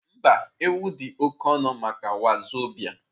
Mba, ewu dị oke ọnụ maka wazobia.